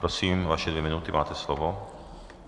Prosím, vaše dvě minuty, máte slovo.